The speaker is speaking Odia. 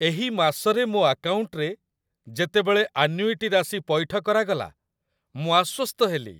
ଏହି ମାସରେ ମୋ ଆକାଉଣ୍ଟରେ ଯେତେବେଳେ ଆନ୍ୟୁଇଟି ରାଶି ପୈଠ କରାଗଲା, ମୁଁ ଆଶ୍ୱସ୍ତ ହେଲି।